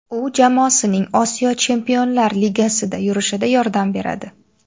U jamoasining Osiyo Chempionlar Ligasidagi yurishida yordam beradi.